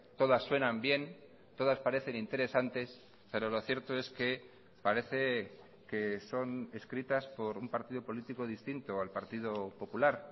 todas suenan bien todas parecen interesantes pero lo cierto es que parece que son escritas por un partido político distinto al partido popular